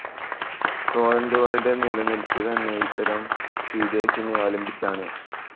ടോറന്റുകളുടെ നിലനിൽപ്പ് തന്നെ ഇത്തരം സീഡേഴ്സിനെ അവലംബിച്ചാണ്.